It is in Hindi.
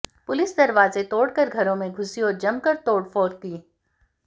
पुलिस दरवाजे तोड़कर घरो में घुसी और जमकर तोड़फोड़ की